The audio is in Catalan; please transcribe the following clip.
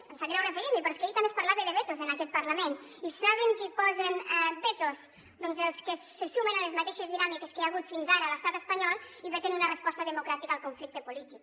em sap greu referir m’hi però és que ahir també es parlava de vetos en aquest parlament i saben qui posa vetos doncs els que se sumen a les mateixes dinàmiques que hi ha hagut fins ara a l’estat espanyol i veten una resposta democràtica al conflicte polític